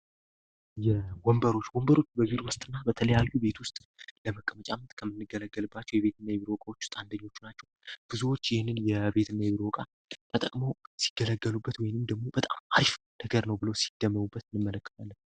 ወንበሮች ወንበሮች በቢሮ ውስጥ እና በቤት ውስጥ ለመቀመጫነት የምንገለግልባቸው እቃዎች ናቸው ብዙዎች በቤት ውስጥ ተጠቅመው ተደላድለው በሚቀመጡበት ጊዜ በጣም የሚገርመው ምቾት ይሰማቸማቸዋል።